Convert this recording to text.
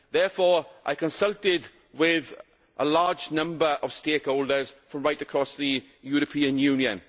Therefore I consulted with a large number of stakeholders from right across the European Union.